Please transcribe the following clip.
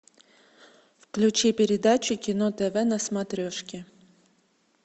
включи передачу кино тв на смотрешке